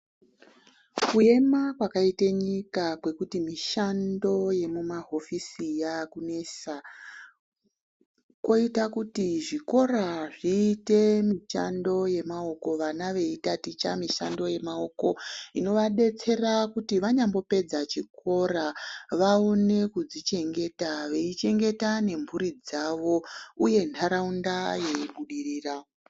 Kuyema kwakaite nyika, kwekuti mishando yekumahofisi yaakunesa ,koita kuti zvikora zviite mishando yemawoko vana beyitatitsha mishando yemawoko inovadetsera kuti vanyanyopedza chikora vawone kuzvichengeta veyichengeta nemhuri dzavo uye ntaraunda iyibudirira.